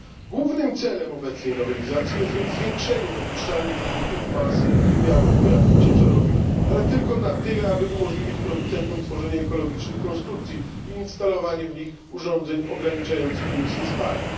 Głównym celem obecnej nowelizacji jest więc zwiększenie dopuszczalnych limitów masy i wymiarów pojazdów ciężarowych, ale tylko na tyle, aby umożliwić producentom tworzenie ekologicznych konstrukcji i instalowanie w nich urządzeń ograniczających emisję spalin.